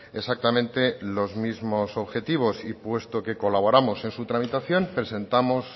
exactamente los mismos objetivos y puesto que colaboramos en su tramitación presentamos